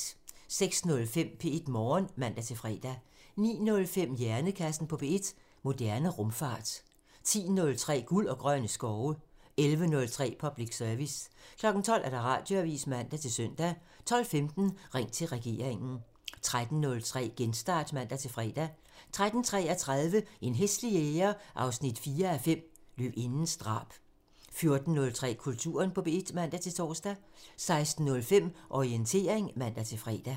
06:05: P1 Morgen (man-fre) 09:05: Hjernekassen på P1: Moderne rumfart 10:03: Guld og grønne skove (man) 11:03: Public Service (man) 12:00: Radioavisen (man-søn) 12:15: Ring til regeringen (man) 13:03: Genstart (man-fre) 13:33: En hæslig jæger 4:5 – Løvindens drab 14:03: Kulturen på P1 (man-tor) 16:05: Orientering (man-fre)